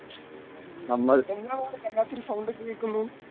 ഉം എന്താണ് അവിടെ വല്ലാത്തൊരു സൗണ്ടൊക്കെ കേക്കുന്നു?